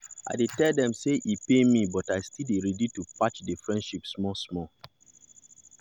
i tell dem sey e pain me but i still dey ready to patch the friendship small small.